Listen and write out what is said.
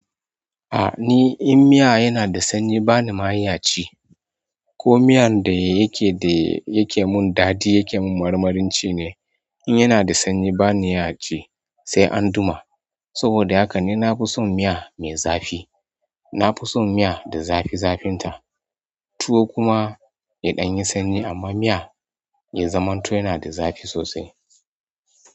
Ni in miya yana da sanyi bani ma iya ci ko miyan da yake da yake mun daɗi yake mun marmarin ci ne, in yana da sanyi bani iya ci sai an duma. Saboda haka ne na fi son miya mai zafi. Na fi son miya da zafi zafinta. Tuwo kuma ya ɗan yi sanyi amma miya ya zaman to yana da zafi sosai.